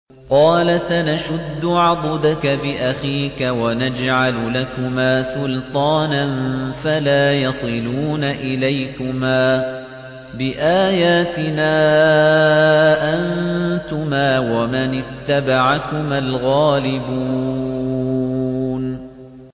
قَالَ سَنَشُدُّ عَضُدَكَ بِأَخِيكَ وَنَجْعَلُ لَكُمَا سُلْطَانًا فَلَا يَصِلُونَ إِلَيْكُمَا ۚ بِآيَاتِنَا أَنتُمَا وَمَنِ اتَّبَعَكُمَا الْغَالِبُونَ